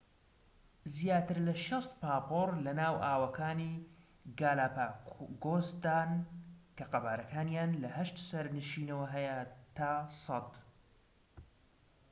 زیاتر لە ٦٠ پاپۆر لەناو ئاوەکانی گالاپاگۆسدان، کە قەبارەکانیان لە ٨ سەرنشینەوە هەیە تا ١٠٠